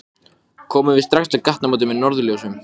Hann færði ömmu stóran konfektkassa og afa flösku af víni.